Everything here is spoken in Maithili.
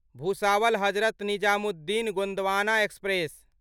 भुसावल हजरत निजामुद्दीन गोन्दवाना एक्सप्रेस